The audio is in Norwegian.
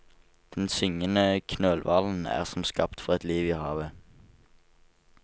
Den syngende knølhvalen er som skapt for et liv i havet.